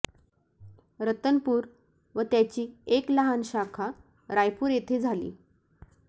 रतनपूर व त्याची एक लहान शाखा रायपूर येथे झाली